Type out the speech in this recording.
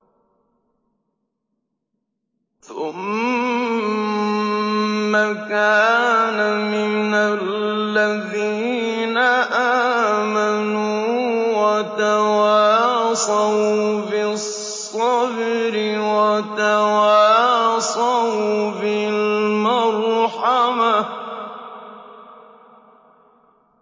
ثُمَّ كَانَ مِنَ الَّذِينَ آمَنُوا وَتَوَاصَوْا بِالصَّبْرِ وَتَوَاصَوْا بِالْمَرْحَمَةِ